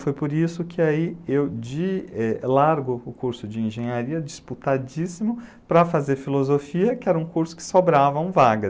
Foi por isso que eu largo o curso de engenharia disputadíssimo para fazer filosofia, que era um curso que sobravam vagas.